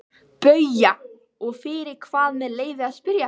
BAUJA: Og fyrir hvað með leyfi að spyrja?